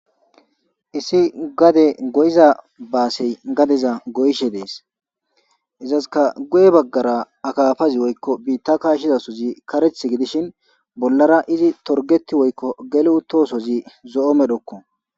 issi gade go7iza baasey gadeza go7ishe dees izaska guye baggara akafazi woykko biitta kaashshizasozi kareth gidishin bollara izi torgeti woykko gele utoosozi zo7o medhokko